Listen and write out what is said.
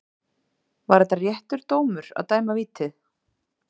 Var þetta réttur dómur að dæma vítið?